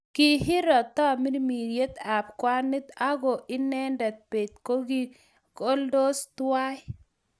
kihiro tamirmiryet ab kwanit ako inendet be king'ololdos tuai